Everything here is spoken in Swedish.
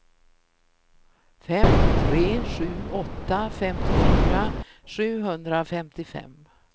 fem tre sju åtta femtiofyra sjuhundrafemtiofem